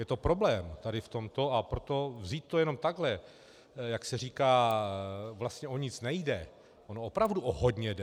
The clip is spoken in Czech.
Je to problém tady v tomto, a proto vzít to jenom takhle, jak se říká, vlastně o nic nejde, ono opravdu o hodně jde.